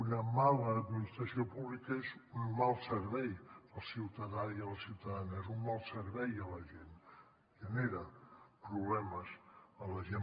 una mala administració pública és un mal servei al ciutadà i a la ciutadana és un mal servei a la gent genera problemes a la gent